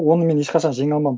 оны мен ешқашан жеңе алмадым